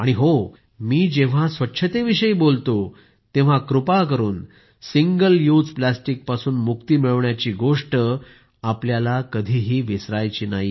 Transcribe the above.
आणि हां मी जेव्हा स्वच्छतेविषयी बोलतो तेव्हा कृपा करून सिंगल युज प्लॅस्टिकपासून मुक्ति मिळवण्याची गोष्ट आपल्याला कधी विसरायची नाही